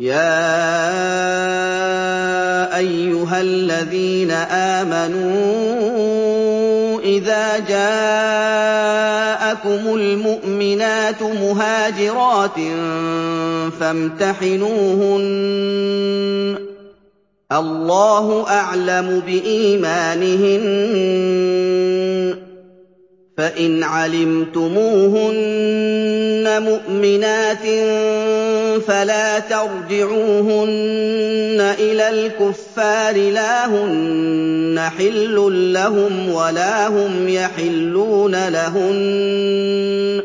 يَا أَيُّهَا الَّذِينَ آمَنُوا إِذَا جَاءَكُمُ الْمُؤْمِنَاتُ مُهَاجِرَاتٍ فَامْتَحِنُوهُنَّ ۖ اللَّهُ أَعْلَمُ بِإِيمَانِهِنَّ ۖ فَإِنْ عَلِمْتُمُوهُنَّ مُؤْمِنَاتٍ فَلَا تَرْجِعُوهُنَّ إِلَى الْكُفَّارِ ۖ لَا هُنَّ حِلٌّ لَّهُمْ وَلَا هُمْ يَحِلُّونَ لَهُنَّ ۖ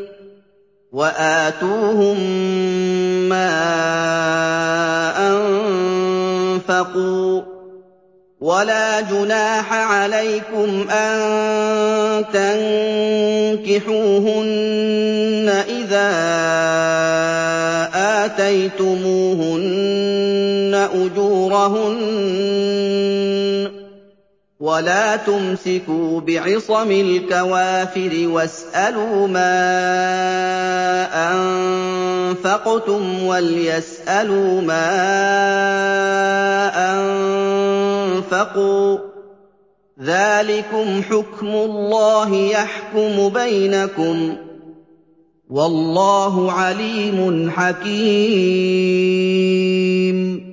وَآتُوهُم مَّا أَنفَقُوا ۚ وَلَا جُنَاحَ عَلَيْكُمْ أَن تَنكِحُوهُنَّ إِذَا آتَيْتُمُوهُنَّ أُجُورَهُنَّ ۚ وَلَا تُمْسِكُوا بِعِصَمِ الْكَوَافِرِ وَاسْأَلُوا مَا أَنفَقْتُمْ وَلْيَسْأَلُوا مَا أَنفَقُوا ۚ ذَٰلِكُمْ حُكْمُ اللَّهِ ۖ يَحْكُمُ بَيْنَكُمْ ۚ وَاللَّهُ عَلِيمٌ حَكِيمٌ